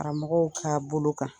Karamɔgɔ'a bɔ lo kan